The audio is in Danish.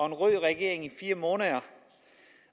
en rød regering i fire måneder